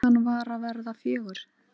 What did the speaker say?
Klukkan var að verða fjögur.